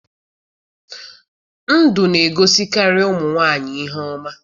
Ndụ na egosikari ụmụ nwanyị ihe ọma